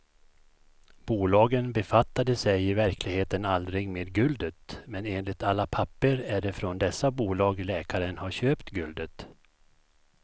Bolagen befattade sig i verkligheten aldrig med guldet, men enligt alla papper är det från dessa bolag läkaren har köpt guldet.